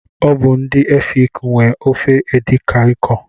Ọ bụ ndị efik nwe ofe edi Kai kọ.